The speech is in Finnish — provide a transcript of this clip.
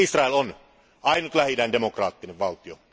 Ja Israel on ainoa Lähi idän demokraattinen valtio.